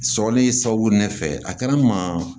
Sɔrɔli sababu ne fɛ a kɛra n maa